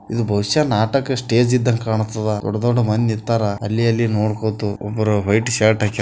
ಇದು ಬಹುಶ ನಾಟಕ ಸ್ಟೇಜ್ ಇದ್ದಂಗ ಕಾಣುತದೆ ದೊಡ್ಡ ದೊಡ್ಡ ಮಂದಿ ನಿಂತರ ಅಲ್ಲಿ ಅಲ್ಲಿ ನೋಡುಕೋತು ಒಬ್ರು ವೈಟ್ ಶರ್ಟ್ ಹಾಕಿಕೊಂಡ --